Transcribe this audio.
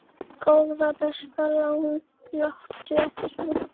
Góða besta láttu ekki svona!